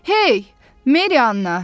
Hey, Meriyanna!